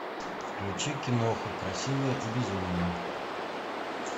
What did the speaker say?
включи киноху красивая и безумная